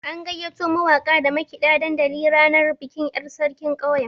An gayyato mawaka da makiɗa dandali ranar bikin yar' sarkin ƙauyen.